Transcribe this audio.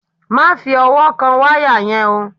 Má fi ọwọ́ kan wáyà yẹn o!